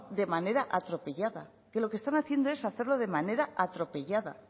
de manera atropellada que lo que están haciendo es hacerlo de manera atropellada